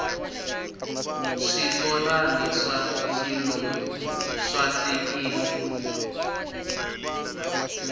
switorani swa xilungu swa hlekisa